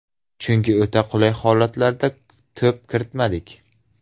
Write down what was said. Chunki o‘ta qulay holatlarda to‘p kiritmadik.